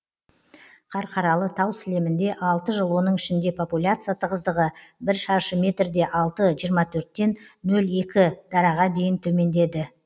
қарқаралы тау сілемінде алты жыл оның ішінде популяция тығыздығы бір шаршы метрде алты жиырма төрттен нөл екі дараға дейін төмендеді